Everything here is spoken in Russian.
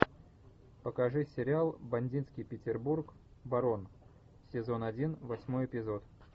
покажи сериал бандитский петербург барон сезон один восьмой эпизод